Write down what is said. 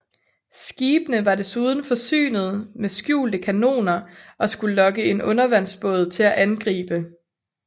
Skibene var desuden forsynet med skjulte kanoner og skulle lokke en undervandsbåd til at angribe